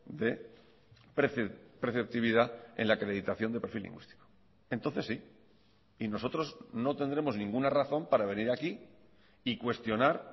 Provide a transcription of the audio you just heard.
de preceptividad en la acreditación de perfil lingüístico entonces sí y nosotros no tendremos ninguna razón para venir aquí y cuestionar